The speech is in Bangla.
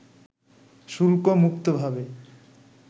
শুল্ক মুক্তভাবে